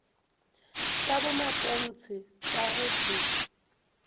tša bomatontshe ba go se